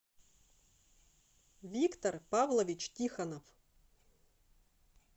виктор павлович тихонов